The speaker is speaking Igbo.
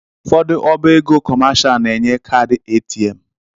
Ụfọdụ ọba ego kọmashal na-enye kaadị ATM.